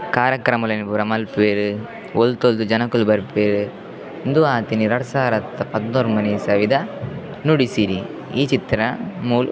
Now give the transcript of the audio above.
ಕಾರ್ಯಕ್ರಮಲೆನ್ ಪೂರ ಮನ್ಪುವೆರ್ ಒಲ್ತೊಲ್ತು ಜನೊಕುಲು ಬರ್ಪೆರ್ ಉಂದು ಆತಿನಿ ರಡ್ಡ್ ಸಾರತ್ತ ಪದ್ನೊರ್ಮ್ಭ ನೆ ಇಸವಿದ ನುಡಿಸಿರಿ ಈ ಚಿತ್ರ ಮೂಲ್ --